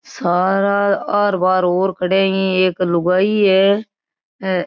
सारा आर पार और खड़े है एक लुगाई है।